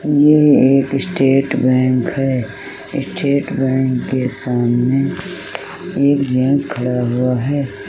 यह एक state bank है स्टेट बैंक के सामने एक जेंट्स खड़ा हुआ है।